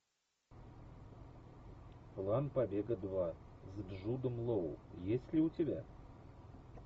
план побега два с джудом лоу есть ли у тебя